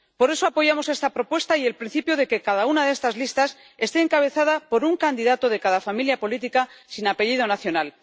Por eso, apoyamos esta propuesta y el principio de que cada una de estas listas esté encabezada por un candidato de cada familia política sin apellido nacional.